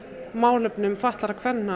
málefnum fatlaðra kvenna